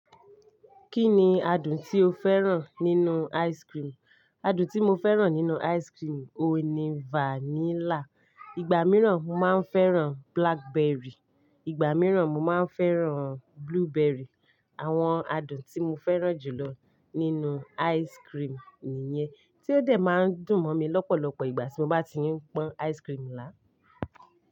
Kí ni adùn tí o fẹ́ràn nínú ice cream? Kí ni adùn tí o fẹ́ràn nínúu ice cream? Ìgbà míràn, mo máa ń fẹ́ràn blackberry, ìgbà míràn mo máa ń fẹ́ràn blueberry. Àwọn adùn tí mo fẹ́ràn jù lọ nínúu ice cream nìyẹn tí ó dẹ̀ máa ń dùn mọ́ mi lọ́pọ̀lọpọ̀ ìgbà tí mo bá ti ń pọ́n ice cream lá.